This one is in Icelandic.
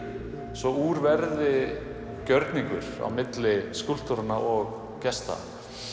svo úr verði gjörningur milli skúlptúranna og gesta